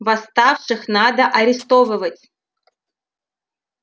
восставших надо арестовывать